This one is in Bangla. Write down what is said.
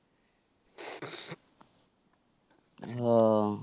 ও.